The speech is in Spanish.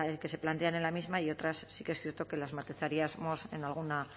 que se plantean en la misma y otras sí que es cierto que las matizaríamos en alguna